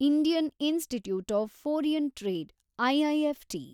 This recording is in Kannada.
Indian Institute of Foreign Trade, IIFT